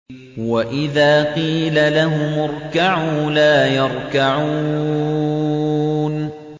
وَإِذَا قِيلَ لَهُمُ ارْكَعُوا لَا يَرْكَعُونَ